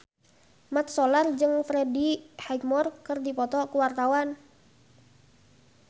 Mat Solar jeung Freddie Highmore keur dipoto ku wartawan